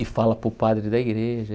E fala para o padre da igreja.